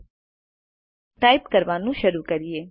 હવે ટાઈપ કરવાનું શરૂ કરીએ